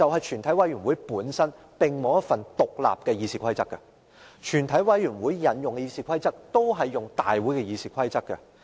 全委會本身並無一份獨立的議事規則，所引用的《議事規則》就是大會的《議事規則》。